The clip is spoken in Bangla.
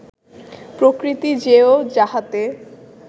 প্রকৃতি জেয়; যাহাতে